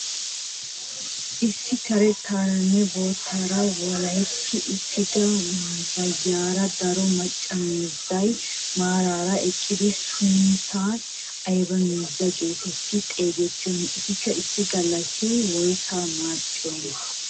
Issi karettaaranne boottaara walahetti uttida waayiyaara daro maacca miizzay maarara eqqdaagetu sunttay ayba miizza getetti xeegettiyoonaa? Etikka issi galassi woyssaa maaxxiyoonaa?